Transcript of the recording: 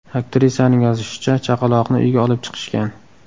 Aktrisaning yozishicha, chaqaloqni uyga olib chiqishgan.